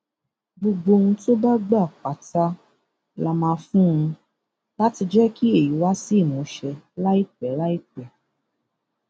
gbogbo ohun tó bá gbà pátá lá máa fún un láti jẹ kí èyí wá sí ìmúṣẹ láìpẹ láìpẹ